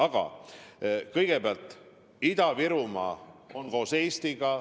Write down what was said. Aga kõigepealt, Ida-Virumaa on koos Eestiga.